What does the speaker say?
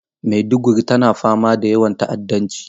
Maiduguri tana fama da yawan ta'addanci.